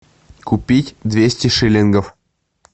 купить двести шиллингов